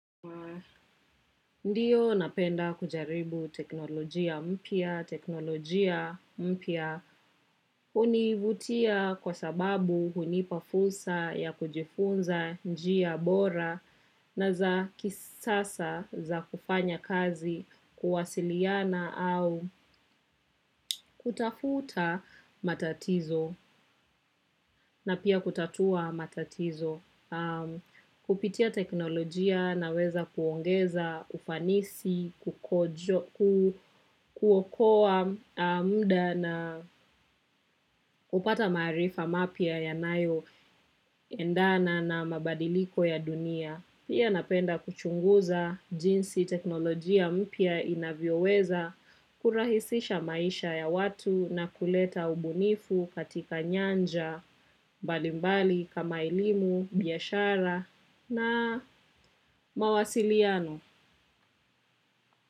Ndiyo napenda kujaribu teknolojia mpya, teknolojia mpya hunivutia kwa sababu hunipa fursa ya kujifunza njia bora na za kisasa za kufanya kazi kuwasiliana au kutafuta matatizo na pia kutatua matatizo. Kupitia teknolojia naweza kuongeza ufanisi, kuokoa muda na kupata maarifa mapya yanayo endana na mabadiliko ya dunia. Pia napenda kuchunguza jinsi teknolojia mpya inavyoweza kurahisisha maisha ya watu na kuleta ubunifu katika nyanja mbalimbali kama elimu, biashara na mawasiliano.